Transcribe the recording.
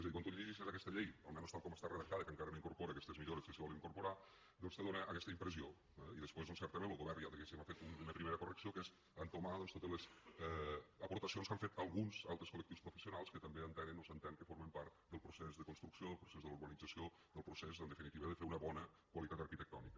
és a dir quan tu llegeixes aquesta llei almenys tal com està redactada que encara no incorpora aquestes millores que s’hi volen incorporar doncs te dóna aquesta impressió eh i després doncs certament lo govern ja diguéssim ha fet una primera correcció que és entomar totes les aportacions que han fet alguns altres col·lectius professionals que també entenen o s’entén que formen part del procés de construcció del procés de la urbanització del procés en definitiva de fer una bona qualitat arquitectònica